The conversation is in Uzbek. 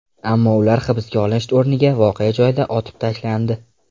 Ammo ular hibsga olinish o‘rniga voqea joyida otib tashlandi.